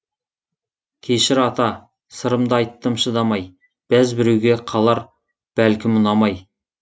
кешір ата сырымды айттым шыдамай бәз біреуге қалар бәлкім ұнамай